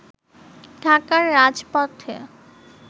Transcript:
ঢাকার রাজপথে